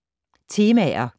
Temaer